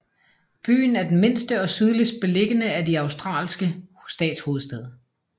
Byen er den mindste og sydligst beliggende af de australske statshovedstæder